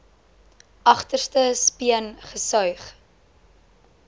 agterste speen gesuig